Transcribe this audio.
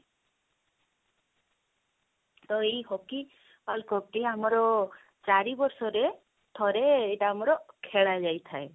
ତ ଏଇ hockey world cup ଟି ଆମର ଚାରି ବର୍ଷ ରେ ଥରେ ଏଇଟା ଆମର ଖେଳା ଯାଇ ଥାଏ